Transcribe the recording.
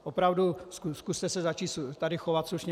Opravdu, zkuste se tady začít chovat slušně.